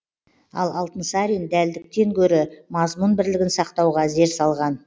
ал алтынсарин дәлдіктен гөрі мазмұн бірлігін сақтауға зер салған